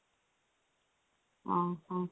ଅ ହଁ